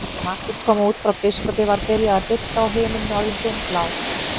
Þegar Marteinn kom út frá biskupi var byrjað að birta og himininn orðinn dimmblár.